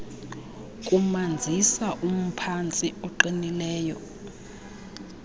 kumanzisa umphantsi oqinileyo